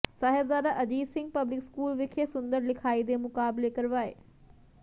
Sahibzada Ajit Singh public school ਵਿਖੇ ਸੁੰਦਰ ਲਿਖਾਈ ਦੇ ਮੁਕਾਬਲੇ ਕਰਵਾਏ